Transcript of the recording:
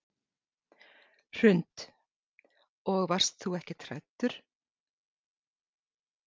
Hrund: Og varst þú ekkert hræddur?